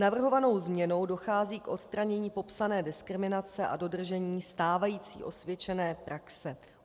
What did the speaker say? Navrhovanou změnou dochází k odstranění popsané diskriminace a dodržení stávající osvědčené praxe.